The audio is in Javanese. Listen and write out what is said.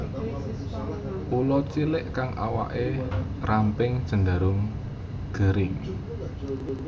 Ula cilik kang awake ramping cenderung gering